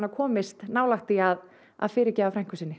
komist nálægt því að að fyrirgefa frænku sinni